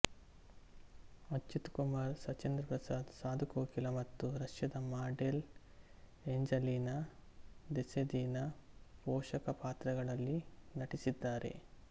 ಅಚ್ಯುತ್ ಕುಮಾರ್ ಸುಚೇಂದ್ರ ಪ್ರಸಾದ್ ಸಾಧು ಕೋಕಿಲ ಮತ್ತು ರಷ್ಯಾದ model Angelina Desedina ಪೋಷಕ ಪಾತ್ರಗಳಲ್ಲಿ ನಟಿಸಿದ್ದಾರೆ